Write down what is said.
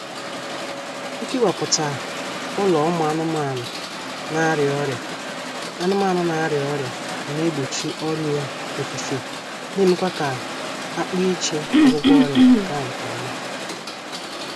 Ikewaputa ụlọ ụmụ anụmaanụ na-arịa ọrịa anụmaanụ na-arịa ọrịa na-egbochi ọrịa ofufe na-emekwa ka-akpa iche ọgwụgwọ ọrịa gaa nkọma